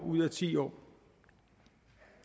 ud af ti år